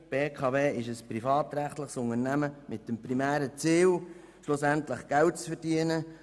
die BKW ist eine privatrechtliche Unternehmung mit dem primären Ziel, am Ende Geld zu verdienen.